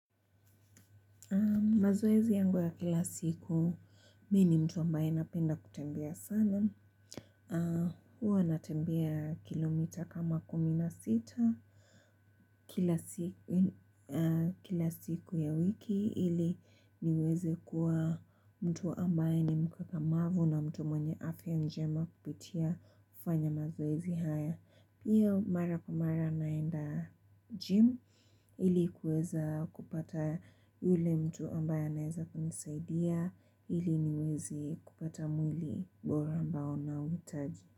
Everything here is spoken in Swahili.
Mazoezi yangu ya kila siku mi ni mtu ambaye napenda kutembea sana. Huwa natembea kilomita kama kumi na sita kila siku ya wiki ili niweze kuwa mtu ambaye ni mkakamavu na mtu mwenye afya njema kupitia kufanya mazoezi haya. Pia mara kwa mara naenda jim ili kuweza kupata yule mtu ambaye anaeza kunisaidia ili niweze kupata mwili bora ambao nauhitaji.